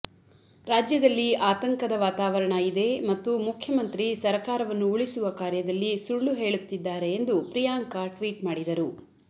ರಾಜ್ಯದಲ್ಲಿ ಆತಂಕದ ವಾತಾವರಣ ಇದೆ ಮತ್ತು ಮುಖ್ಯಮಂತ್ರಿ ಸರಕಾರವನ್ನು ಉಳಿಸುವ ಕಾರ್ಯದಲ್ಲಿ ಸುಳ್ಳು ಹೇಳುತ್ತಿದ್ದಾರೆ ಎಂದು ಪ್ರಿಯಾಂಕಾ ಟ್ವೀಟ್ ಮಾಡಿದರು